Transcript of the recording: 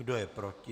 Kdo je proti?